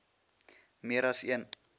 meer as een